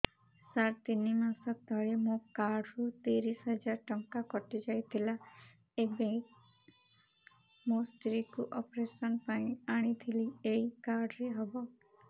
ସାର ତିନି ମାସ ତଳେ ମୋ କାର୍ଡ ରୁ ତିରିଶ ହଜାର ଟଙ୍କା କଟିଯାଇଥିଲା ଏବେ ମୋ ସ୍ତ୍ରୀ କୁ ଅପେରସନ ପାଇଁ ଆଣିଥିଲି ଏଇ କାର୍ଡ ରେ ହବ